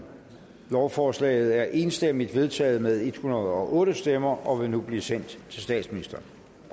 lovforslaget er enstemmigt vedtaget med en hundrede og otte stemmer og vil nu blive sendt til statsministeren